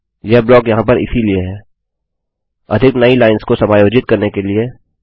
यह ब्लॉक यहाँ पर इसीलिए है अधिक नई लाइंस को समायोजित करने के लिए